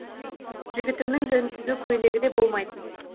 жігітімнің жөні түзу көйлегі де болмайтын